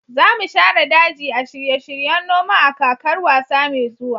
za mu share daji a shirye-shiryen noma a kakar wasa mai zuwa